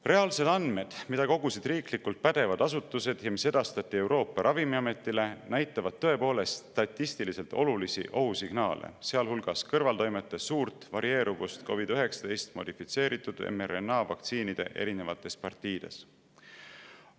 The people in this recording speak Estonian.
Reaalsed andmed, mida kogusid riiklikud pädevad asutused ja mis edastati Euroopa Ravimiametile, näitavad tõepoolest statistiliselt olulisi ohusignaale, sealhulgas kõrvaltoimete suurt varieeruvust COVID‑19 modifitseeritud mRNA vaktsiinide erinevate partiide.